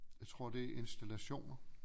Jeg tror det er installationer